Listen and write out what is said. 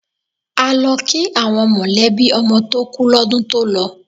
A lọ kí àwọn mọ̀lẹ́bí ọmọ tó kú lọ́dún tó lọ.